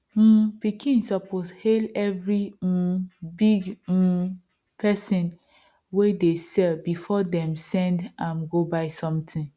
um pikin suppose hail every um big um person wey dey sell before dem send am go buy something